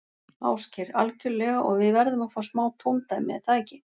Ásgeir: Algjörlega og við verðum að fá smá tóndæmi, er það ekki?